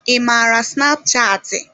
I mara snapchatị?